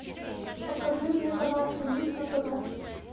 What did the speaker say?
покажи мне канал союз на тв